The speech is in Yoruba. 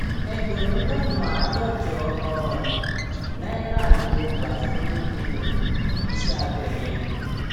ẹgbẹrún lọnà àádọjọ um náírà ni mo gbà fún um iṣẹ abẹ yẹn